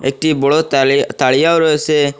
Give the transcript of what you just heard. একটি বড়ো তালি-তারিয়াও রয়েসে ।